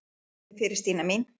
Nei, þakka þér fyrir Stína mín.